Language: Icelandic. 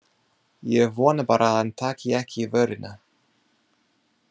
Ég vona bara að hann taki ekki í vörina.